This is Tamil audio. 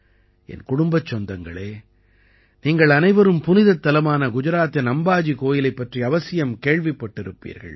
என் குடும்பச் சொந்தங்களே நீங்கள் அனைவரும் புனிதத் தலமான குஜராத்தின் அம்பாஜி கோயிலைப் பற்றி அவசியம் கேள்விப்பட்டிருப்பீர்கள்